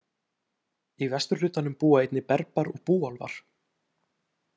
Í vesturhlutanum búa einnig Berbar og búálfar.